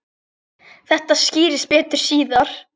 Þetta skýrist betur síðar.